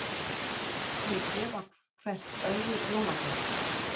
Þau gefa hvert öðru jólagjafir.